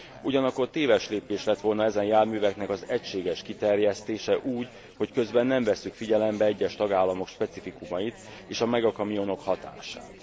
Ugyanakkor téves lépés lett volna ezen járműveknek az egységes kiterjesztése úgy, hogy közben nem vesszük figyelembe egyes tagállamok specifikumait és a megakamionok hatását.